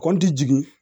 Kɔnti jigin